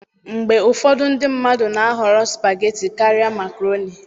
Mgbe ụfọdụ ndị mmadụ na-ahọrọ spageti karịa Makaroni